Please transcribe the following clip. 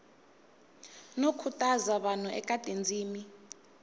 no khutaza vanhu eka tindzimi